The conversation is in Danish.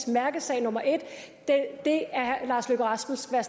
mærkesag nummer en den at herre lars løkke rasmussen